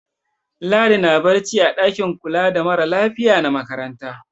Ladi na barci a ɗakin kula da mara lafiya na makaranta.